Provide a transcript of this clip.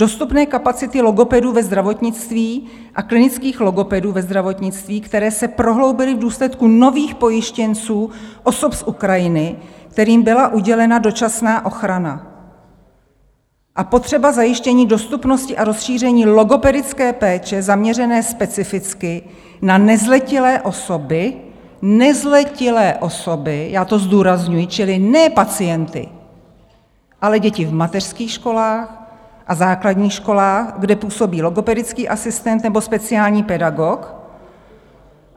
Dostupné kapacity logopedů ve zdravotnictví a klinických logopedů ve zdravotnictví, které se prohloubily v důsledku nových pojištěnců, osob z Ukrajiny, kterým byla udělena dočasná ochrana, a potřeba zajištění dostupnosti a rozšíření logopedické péče zaměřené specificky na nezletilé osoby" - nezletilé osoby, já to zdůrazňuji, čili ne pacienty, ale děti v mateřských školách a základních školách, kde působí logopedický asistent nebo speciální pedagog.